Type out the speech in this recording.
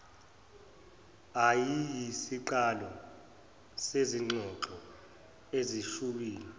eyayiyisiqalo sezingxoxo ezishubile